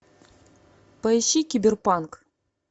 поищи киберпанк